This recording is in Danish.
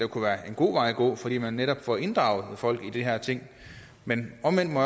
kunne være en god vej at gå fordi man netop får inddraget folk i de her ting men omvendt må